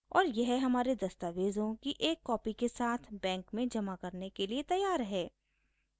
और यह हमारे दस्तावेज़ों की एक कॉपी के साथ बैंक में जमा करने के लिए तैयार है